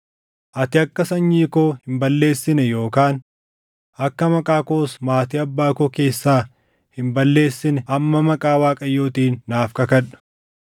Ati akka sanyii koo hin balleessine yookaan akka maqaa koos maatii abbaa koo keessaa hin balleessine amma maqaa Waaqayyootiin naaf kakadhu.”